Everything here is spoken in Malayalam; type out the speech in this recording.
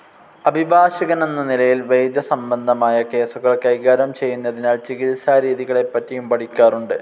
അഭിഭാഷകനെന്ന നിലയിൽ വൈദ്യസംബന്ധമായ കേസുകൾ കൈകാര്യം ചെയ്യുന്നതിനാൽ ചികിത്സാരീതികളെപ്പറ്റിയും പഠിക്കാറുണ്ട്.